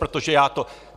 Protože já to...